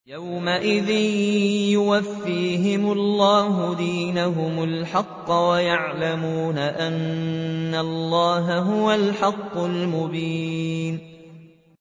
يَوْمَئِذٍ يُوَفِّيهِمُ اللَّهُ دِينَهُمُ الْحَقَّ وَيَعْلَمُونَ أَنَّ اللَّهَ هُوَ الْحَقُّ الْمُبِينُ